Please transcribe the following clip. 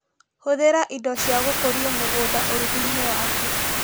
Hũthĩra indo cia gũkũrio mũgũnda ũrugi-inĩ waku